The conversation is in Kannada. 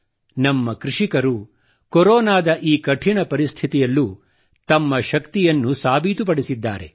ನಮ್ಮ ಕೃಷಿಕರು ಕೊರೊನಾದ ಈ ಕಠಿಣ ಪರಿಸ್ಥಿತಿಯಲ್ಲೂ ತಮ್ಮ ಶಕ್ತಿಯನ್ನು ಸಾಬೀತುಪಡಿಸಿದ್ದಾರೆ